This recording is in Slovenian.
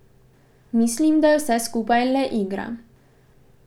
Misli, da je vse skupaj le igra.